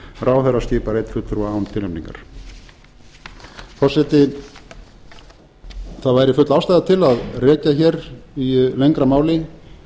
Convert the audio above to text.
ráðherra skipar einn fulltrúa án tilnefningar forseti það væri full ástæða til að rekja í lengra máli